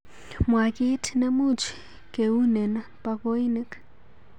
Mwa kiit nemuch keunen bakoinik